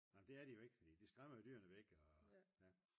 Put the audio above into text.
nej men det er de jo ikke fordi de skræmmer jo dyrene væk og ja